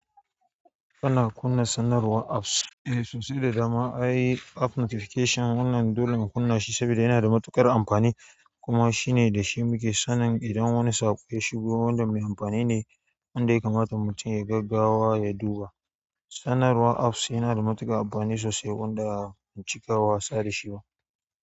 Ana kunna sanarwar apps, eh sosai da dama ai app notification wannan dole ka kunna shi saboda yana da matuƙar amfani kuma shine da shi muke sanin idan wani saƙo ya shigo wanda mai amfani ne inda ya kamata mutum ya yi gaggawa ya duba. Sanarwar apps yana da matuƙar amfani sosai wanda a ban cika wasa da shi ba.